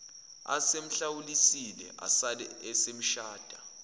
esemhlawulile asale esemshada